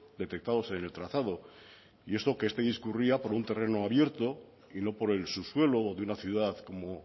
detectados en el trazado y esto que este discurría por un terreno abierto y no por el subsuelo de una ciudad como